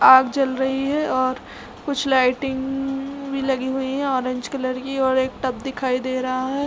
आग जल रही है और कुछ लाइटिंग भी लगी है लगी हुई है ऑरेंज कलर की और एक टब दिखाई दे रहा है।